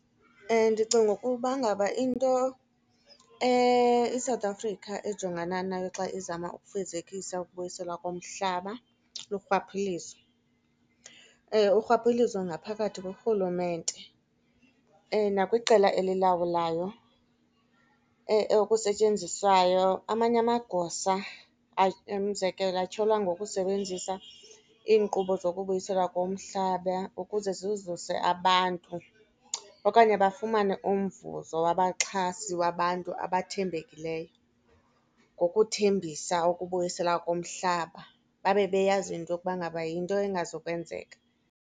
Ndicingi ukuba ngaba into iSouth Africa ejongana nayo xa izama ukufezekisa ukubuyiselwa komhlaba lurhwaphilizo. Urhwaphilizo ngaphakathi kurhulumente nakwiqela elilawulayo okusetyenziswayo amanye amagosa umzekelo atyholwa ngokusebenzisa iinkqubo zokubuyiselwa komhlaba ukuze zizuze abantu. Okanye bafumane umvuzo wabaxhasi wabantu abathembekileyo ngokuthembisa ukubuyiselwa komhlaba babebeyazi into yokuba ngaba yinto engazukwenzeka.